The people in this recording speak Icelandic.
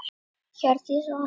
Hjördís og Hans.